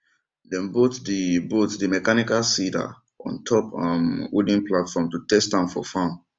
dem bolt the bolt the mechanical seeder on top um wooden platform to test am for farm